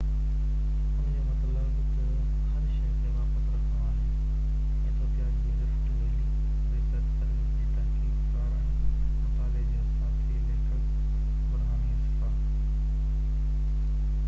ان جو مطلب تہ هر شئي کي واپس رکڻو آهي ايٿوپيا جي رفٽ ويلي ريسرچ سروس جي تحقيق ڪار ۽ مطالعي جي ساٿي ليکڪ برهاني اسفا